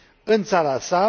în țara sa.